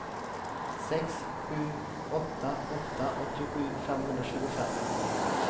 sex sju åtta åtta åttiosju femhundratjugofem